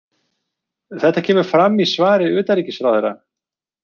Þetta kemur fram í svari utanríkisráðherra